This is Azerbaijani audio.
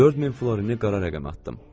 4000 florini qara rəqəmə atdım.